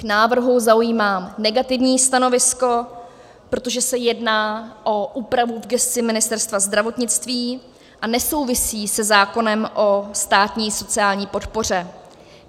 K návrhu zaujímám negativní stanovisko, protože se jedná o úpravu v gesci Ministerstva zdravotnictví a nesouvisí se zákonem o státní sociální podpoře.